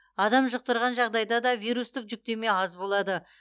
адам жұқтырған жағдайда да вирустық жүктеме аз болады